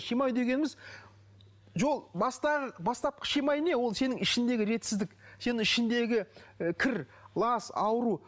шимай дегеніміз жол бастапқы шимай не ол сенің ішіңдегі ретсіздік сенің ішіңдегі і кір лас ауру